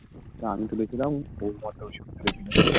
তা আমি তুলেছিলাম